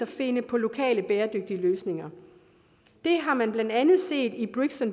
finde på lokale bæredygtige løsninger det har man blandt andet set i